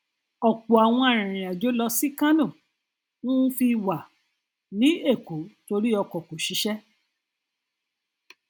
ọpọ àwọn arìnrìnàjò lọ sí kánò um fi wà um ní èkó torí ọkọ kò ṣiṣẹ